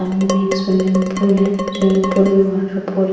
सामने में एक स्विमिंग पूल है। स्विमिंग पूल में --